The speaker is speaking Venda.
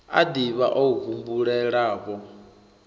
a div ha o humbulelavho